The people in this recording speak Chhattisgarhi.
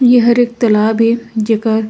येहर एक तालाब ए जेकर--